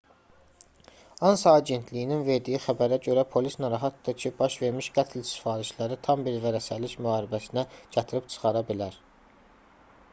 ansa agentliyinin verdiyi xəbərə görə polis narahatdır ki baş vermiş qətl sifarişləri tam bir vərəsəlik müharibəsinə gətirib çıxara bilər